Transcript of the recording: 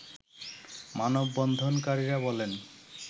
মানববন্ধনকারীরা বলেন